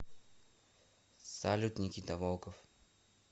салют никита волков